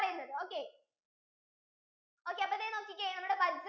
okay അപ്പോ ദേ നോക്കിക്കേ നമ്മുടെ